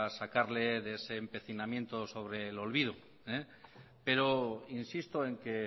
sacarle de ese empecinamiento sobre el olvido pero insisto en que